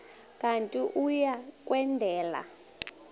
kanti uia kwendela